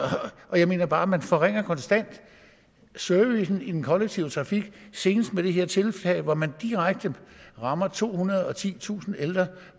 jeg mener bare at man forringer konstant servicen i den kollektive trafik senest med det her tiltag hvor man direkte rammer tohundrede og titusind ældre